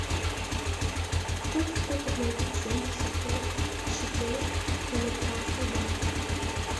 сколько стоит обменять семьдесят пять шекелей в американских долларах